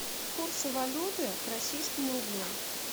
курсы валюты к российскому рублю